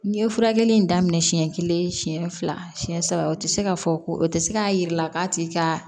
N ye furakɛli in daminɛ siɲɛ kelen siɲɛ fila siɲɛ saba o tɛ se ka fɔ ko o tɛ se k'a jira k'a tigi ka